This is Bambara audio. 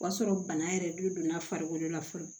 O y'a sɔrɔ bana yɛrɛ donna farikolo la fɔlɔ